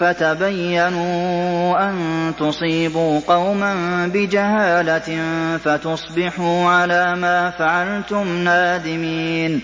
فَتَبَيَّنُوا أَن تُصِيبُوا قَوْمًا بِجَهَالَةٍ فَتُصْبِحُوا عَلَىٰ مَا فَعَلْتُمْ نَادِمِينَ